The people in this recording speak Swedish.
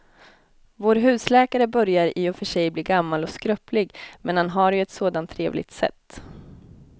Vår husläkare börjar i och för sig bli gammal och skröplig, men han har ju ett sådant trevligt sätt!